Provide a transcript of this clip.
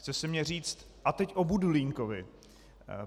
Chce se mně říct: A teď o Budulínkovi.